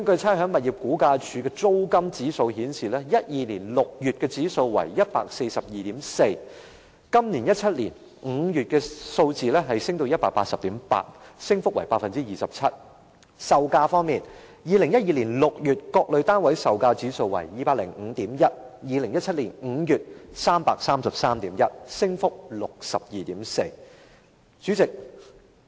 差餉物業估價署的物業租金指數顯示 ，2012 年6月的指數是 142.4， 今年2017年5月的數字已上升至 180.8， 升幅為 27%； 物業售價方面 ，2012 年6月各類單位售價指數為 205.1，2017 年5月是 333.1， 升幅達 62.4%。